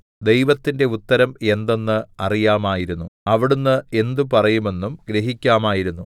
ദൈവത്തിന്റെ ഉത്തരം എന്തെന്ന് അറിയാമായിരുന്നു അവിടുന്ന് എന്ത് പറയുമെന്നും ഗ്രഹിക്കാമായിരുന്നു